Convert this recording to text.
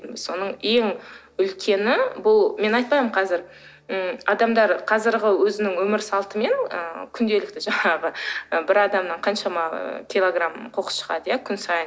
соның ең үлкені бұл мен айтпаймын қазір м адамдар қазіргі өзінің өмір салтымен ы күнделікті жаңағы і бір адамнан қаншама килограмм қоқыс шығады иә күн сайын